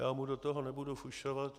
Já mu do toho nebudu fušovat.